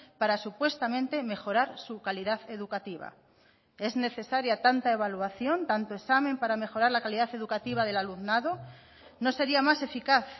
para supuestamente mejorar su calidad educativa es necesaria tanta evaluación tanto examen para mejorar la calidad educativa del alumnado no sería más eficaz